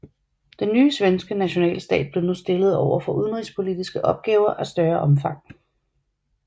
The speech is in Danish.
Den nye svenske nationalstat blev nu stillet over for udenrigspolitiske opgaver af større omfang